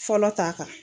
Fɔlɔ ta kan